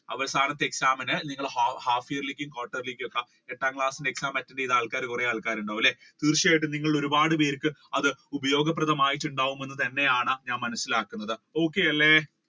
അവസാനത്തെ exam ഇൻ നിങ്ങൾ half yearly quarter yearly എട്ടാം class ഇന്റെ exam attend ചെയ്ത കൊറേ പേര് ഉണ്ടാവും അല്ലെ ഒരുപാട് പേർക്ക് ഉപയോഗപ്രധാനം ആയിട്ടുണ്ടെന്ന് എന്നാണ് ഞാൻ മനസിലാക്കുന്നത്. okay അല്ലെ